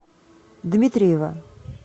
дмитриева